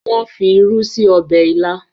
wón fí ìrù sí Ọbẹ̀ ila.